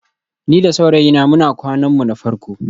Ni da saurayina muna kwanan mu na farko